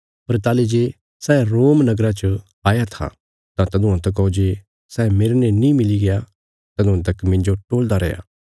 पर ताहली जे सै रोमा नगरा च आया था तां तदुआं तकौ जे सै मेरने नीं मिली गया तदुआं तक मिन्जो टोलदा रैया